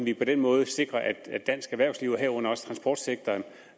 vi på den måde sikrer at dansk erhvervsliv og herunder også transportsektoren